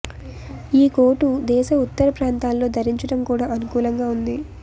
ఈ కోటు దేశ ఉత్తర ప్రాంతాల్లో ధరించడం కూడా అనుకూలంగా ఉంది